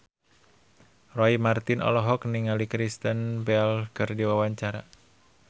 Roy Marten olohok ningali Kristen Bell keur diwawancara